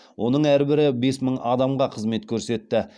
оның әрбірі бес мың адамға қызмет көрсетті